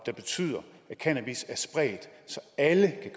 der betyder at cannabis er spredt så alle